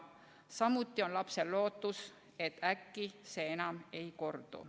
Samuti on lapsel lootus, et äkki see enam ei kordu.